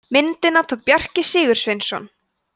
myndina tók bjarki sigursveinsson